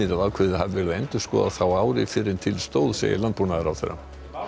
að ákveðið hafi verið að endurskoða þá ári fyrr en til stóð segir landbúnaðarráðherra